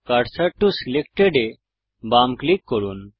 cursor to selected এ বাম click করুন